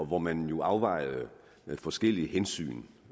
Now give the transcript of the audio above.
hvor man jo afvejede forskellige hensyn